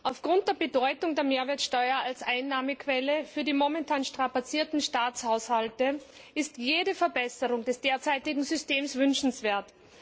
Aufgrund der Bedeutung der Mehrwertsteuer als Einnahmequelle für die momentan strapazierten Staatshaushalte ist jede Verbesserung des derzeitigen Systems wünschenswert.